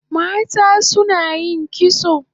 Mata suna kitso